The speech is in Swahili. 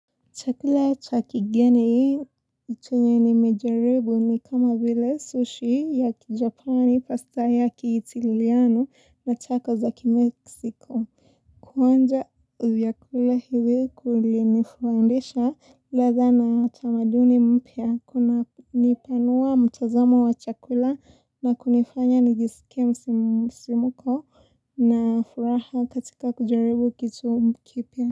Chakula cha kigeni hii chenye nimejaribu ni kama vile sushi ya kijapani pasta ya kiitiliano na chako za kimeksiko. Kuonja vyakula hivyo kulinifundisha ladha na utamaduni mpya, kunipanua mtazamo wa chakula na kunifanya nijisike msisimuko na furaha katika kujaribu kitu kipya.